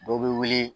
Dɔ bɛ wuli